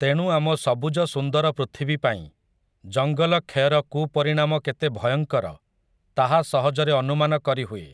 ତେଣୁ ଆମ ସବୁଜ ସୁନ୍ଦର ପୃଥିବୀ ପାଇଁ, ଜଙ୍ଗଲ କ୍ଷୟର କୁପରିଣାମ କେତେ ଭୟଙ୍କର, ତାହା ସହଜରେ ଅନୁମାନ କରିହୁଏ ।